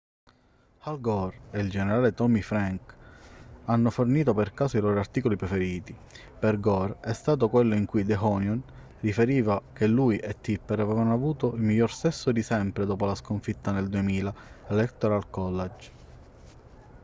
al gore e il generale tommy franks hanno fornito per caso i loro articoli preferiti per gore è stato quello in cui the onion riferiva che lui e tipper avevano avuto il miglior sesso di sempre dopo la sconfitta nel 2000 all'electoral college